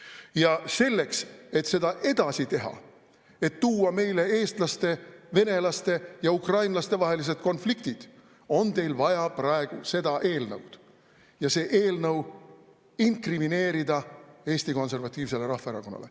Ja selleks, et seda edasi teha, et tuua meile eestlaste, venelaste ja ukrainlaste vahelised konfliktid, on teil vaja praegu seda eelnõu ja see eelnõu inkrimineerida Eesti Konservatiivsele Rahvaerakonnale.